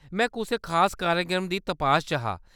में कुसै खास कार्यक्रम दी तपाश च हा।